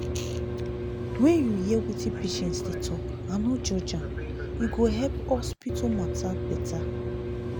when you hear wetin patients dey talk and no judge am e go help hospital matter bette